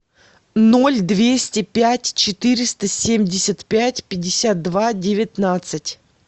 ноль двести пять четыреста семьдесят пять пятьдесят два девятнадцать